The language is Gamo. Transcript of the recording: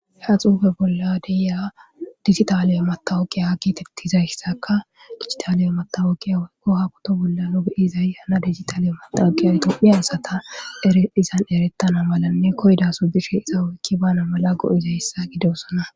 Ha xufe bolla de'iya dijitale matoqa getetizaysaka dijotale matoqa woykon ha poto bolla nuni beyizay dijitale matoqa tophiya asati izan ereta malanekoyidaso bishe iza oyki banaw mala go'izaysa gidosona